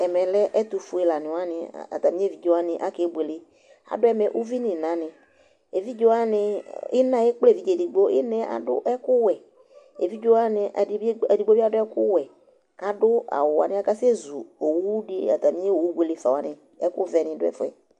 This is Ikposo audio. Ɛmɛ lɛ ɛtʋfue lanɩ wanɩ atamɩ evidze wanɩ akebuele Adʋ ɛmɛ uvi nʋ ɩnanɩ Evidze wanɩ, ɩna yɛ ekple evidze edigbo Ɩna yɛ adʋ ɛkʋwɛ Evidze wanɩ ɛdɩ bɩ edigbo bɩ adʋ ɛkʋwɛ kʋ adʋ awʋ wanɩ Akasɛzu owu dɩ atamɩ owu buele fa wanɩ kʋ ɛkʋvɛnɩ dʋ ɛfʋ yɛ